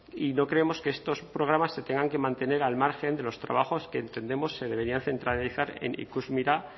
y no creemos que estos programas se tengan que mantener al margen de los trabajos que entendemos se deberían centralizar en ikusmira